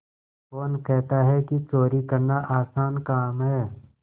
कौन कहता है कि चोरी करना आसान काम है